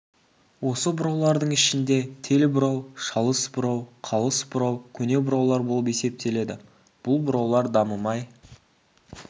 осы бұраулардың ішінде тел бұрау шалыс бұрау қалыс бұрау көне бұраулар болып есептеледі бұл бұраулар дамымай